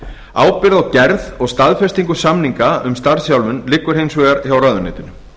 ábyrgð á gerð og staðfestingu samninga um starfsþjálfun liggur hins vegar hjá ráðuneytinu